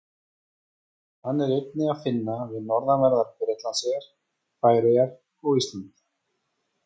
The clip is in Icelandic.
Hann er einnig að finna við norðanverðar Bretlandseyjar, Færeyjar og Ísland.